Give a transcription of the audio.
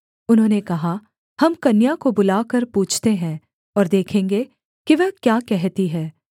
उन्होंने कहा हम कन्या को बुलाकर पूछते हैं और देखेंगे कि वह क्या कहती है